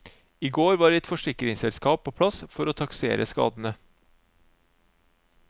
I går var et forsikringsselskap på plass for å taksere skadene.